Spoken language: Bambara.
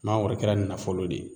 Mangoro kɛra nafolo de ye